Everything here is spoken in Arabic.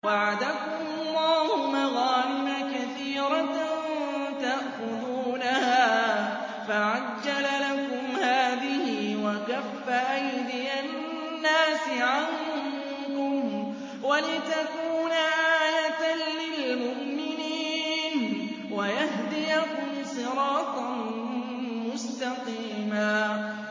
وَعَدَكُمُ اللَّهُ مَغَانِمَ كَثِيرَةً تَأْخُذُونَهَا فَعَجَّلَ لَكُمْ هَٰذِهِ وَكَفَّ أَيْدِيَ النَّاسِ عَنكُمْ وَلِتَكُونَ آيَةً لِّلْمُؤْمِنِينَ وَيَهْدِيَكُمْ صِرَاطًا مُّسْتَقِيمًا